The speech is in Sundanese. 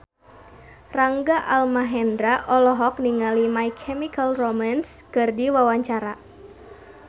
Rangga Almahendra olohok ningali My Chemical Romance keur diwawancara